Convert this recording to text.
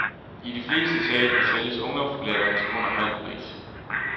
I de fleste teatre sælges ungdomsbilletterne til under halv pris.